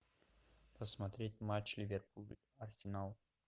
посмотреть матч ливерпуль арсенал